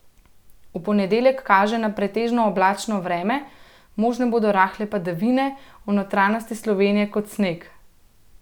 V ponedeljek kaže na pretežno oblačno vreme, možne bodo rahle padavine, v notranjosti Slovenije kot sneg.